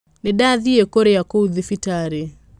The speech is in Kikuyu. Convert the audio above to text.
Nĩndathiĩkũrĩa kũu thibitarĩ.